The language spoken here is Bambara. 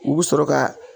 U bɛ sɔrɔ ka